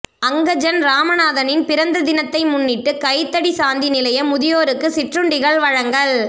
அங்கஜன் இராமநாதனின் பிறந்த தினத்தினை முன்னிட்டு கைதடி சாந்தி நிலைய முதியோருக்கு சிற்றுண்டிகள் வழங்கல்